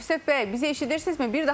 Əlifşət bəy, bizi eşidirsinizmi?